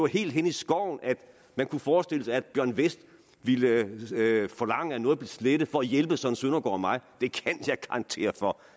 helt hen i skoven at man kunne forestille sig at bjørn westh ville forlange at noget blev slettet for at hjælpe søren søndergaard og mig det kan jeg garantere for